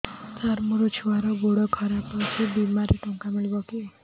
ସାର ମୋର ଛୁଆର ଗୋଡ ଖରାପ ଅଛି ବିମାରେ ଟଙ୍କା ମିଳିବ କି